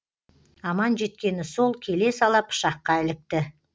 аман жеткені сол келе сала пышаққа ілікті